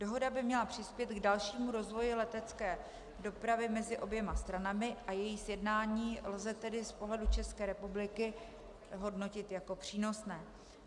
Dohoda by měla přispět k dalšímu rozvoji letecké dopravy mezi oběma stranami a její sjednání lze tedy z pohledu České republiky hodnotit jako přínosné.